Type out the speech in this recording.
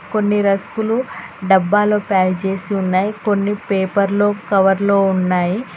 కొన్ని రస్కులు డబ్బాలో ప్యాక్ చేసి ఉన్నాయి కొన్ని పేపర్లో కవర్లో ఉన్నాయి.